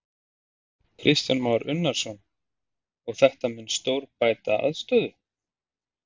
Kristján Már Unnarsson: Og þetta mun stórbæta aðstöðu?